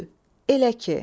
Çü, elə ki.